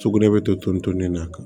Sugunɛ bɛ to ton ton nin na